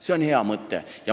See on hea mõte.